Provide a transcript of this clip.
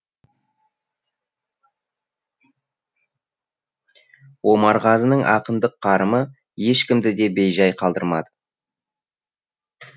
омарғазының ақындық қарымы ешкімді де бейжай қалдырмады